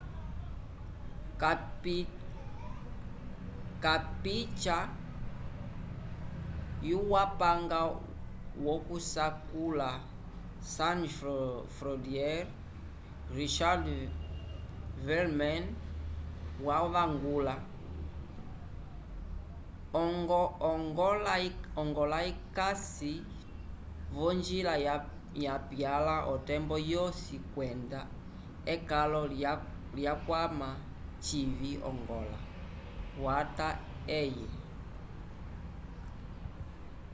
kapitya yupanga wokusakula sans frontiere richard veerman wavangula ongola ikasi vonjila yapyala otembo yosi kwenda ekalo likwama civi ongola wata eye